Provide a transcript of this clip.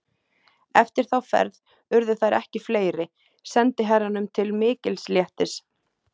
Eftir þá ferð urðu þær ekki fleiri, sendiherranum til mikils léttis.